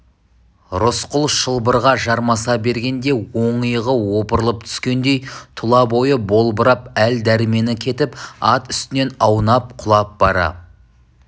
рысқұл шылбырға жармаса бергенде оң иығы опырылып түскендей тұла бойы болбырап әл-дәрмені кетіп ат үстінен аунап құлап бара